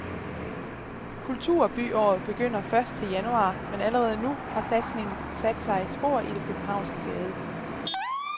Kulturbyåret begynder først til januar, men allerede nu har satsningen sat sig spor i det københavnske gade.